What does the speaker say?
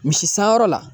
Misi sanyɔrɔ la